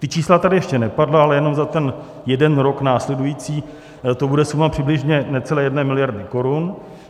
Ta čísla tady ještě nepadla, ale jenom za ten jeden rok následující to bude suma přibližně necelé jedné miliardy korun.